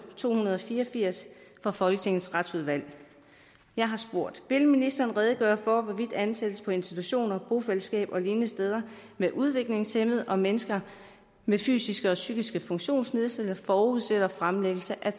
to hundrede og fire og firs fra folketingets retsudvalg vil ministeren redegøre for hvorvidt ansættelse på institutioner bofællesskaber og lignende steder med udviklingshæmmede og med mennesker med fysiske og psykiske funktionsnedsættelser forudsætter fremlæggelse af